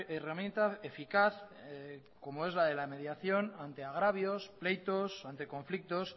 herramienta eficaz como es la de la mediación ante agravios pleitos ante conflictos